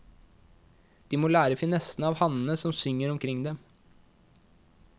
De må lære finessene av hannene som synger omkring dem.